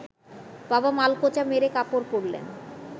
বাবা মালকোঁচা মেরে কাপড় পরলেন